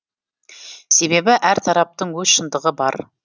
себебі әр тараптың өз шындығы бар